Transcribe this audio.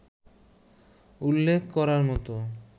উল্লেখ করার মতো